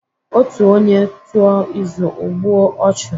Otu onye tuo izu, o gbue ochu